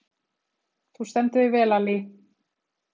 Þú stendur þig vel, Allý!